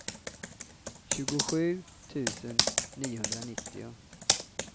tjugosju tusen niohundranittio